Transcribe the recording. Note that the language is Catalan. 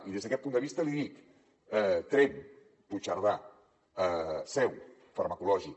i des d’aquest punt de vista li dic tremp puigcerdà i la seu farmacològic